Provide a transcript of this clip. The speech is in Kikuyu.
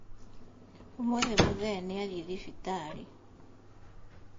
Ũmũthĩ mũthee nĩathiĩ thibitarĩ